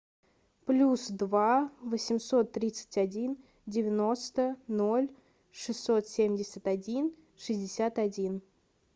плюс два восемьсот тридцать один девяносто ноль шестьсот семьдесят один шестьдесят один